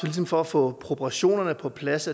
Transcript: ligesom for at få proportionerne på plads